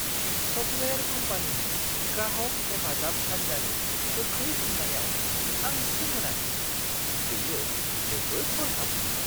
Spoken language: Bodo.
सफ्टवेयार कम्पानिनि ग्राहक हेफाजाब हान्जानि गोख्रै फिननायाव आं सोमोनाङो। बेयो जोबोद हरखाबमोन!